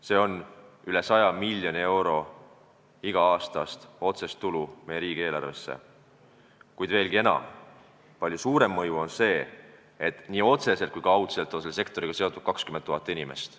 See on üle 100 miljoni euro iga-aastast otsest tulu meie riigieelarvesse, kuid veelgi enam, palju suurem mõju on sel, et nii otseselt kui ka kaudselt on selle sektoriga seotud 20 000 inimest.